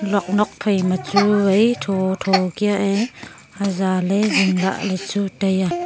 luak nok phaima chu vai tho tho kia ee zaale zingla ley chu taiya.